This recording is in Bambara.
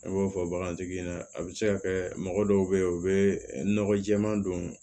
Ne b'o fɔ bagantigi ɲɛna a be se ka kɛ mɔgɔ dɔw be ye u be nɔgɔ jɛɛma don